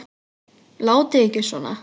Látið ekki svona.